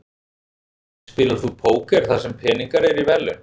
Spilar þú póker þar sem peningar eru í verðlaun?